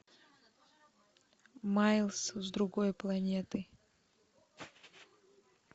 майлс с другой планеты